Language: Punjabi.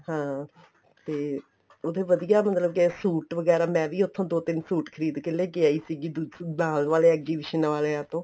ਹਾਂ ਤੇ ਉੱਥੇ ਵਧੀਆ ਮਤਲਬ ਕੇ suit ਵਗੈਰਾ ਮੈਂ ਵੀ ਉੱਥੋ ਦੋ ਤਿੰਨ suit ਖ਼ਰੀਦ ਕੇ ਲੈਕੇ ਆਈ ਸੀਗੀ ਬਾਹਰ ਵਾਲੇ exhibition ਵਾਲਿਆਂ ਤੋਂ